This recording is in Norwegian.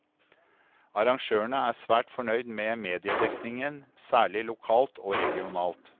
Arrangørene er svært fornøyd med mediedekningen, særlig lokalt og regionalt.